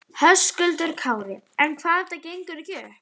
Höskuldur Kári: En hvað ef þetta gengur ekki upp?